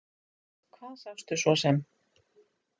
Hvað sástu svo sem?